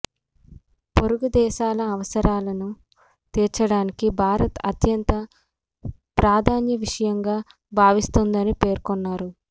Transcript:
పొరుగుదేశాల అవసరాలను తీర్చడాన్ని భారత్ అత్యంత ప్రాధాన్య విషయంగా భావిస్తుందని పేర్కొన్నారు